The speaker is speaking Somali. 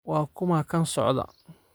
Waa kuma kan socda?